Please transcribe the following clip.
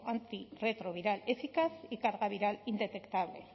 antirretroviral eficaz y carga viral indetectable